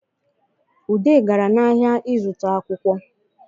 Ude gara n’ahịa ịzụta akwụkwọ